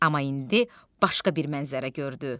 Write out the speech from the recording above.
Amma indi başqa bir mənzərə gördü.